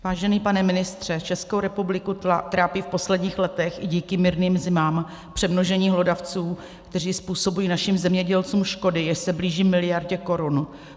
Vážený pane ministře, Českou republiku trápí v posledních letech i díky mírným zimám přemnožení hlodavců, kteří způsobují našim zemědělcům škody, jež se blíží miliardě korun.